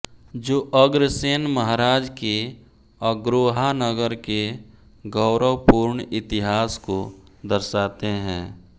जो अग्रसेन महाराज के अग्रोहा नगर के गौरव पूर्ण इतिहास को दर्शाते हैं